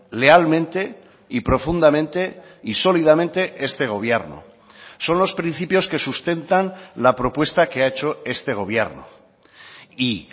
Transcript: lealmente y profundamente y sólidamente este gobierno son los principios que sustentan la propuesta que ha hecho este gobierno y